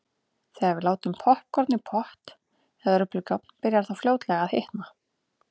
Þegar við látum poppkorn í pott eða örbylgjuofn byrjar það fljótlega að hitna.